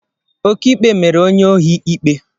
Okiikpe mere onye ohi ikpe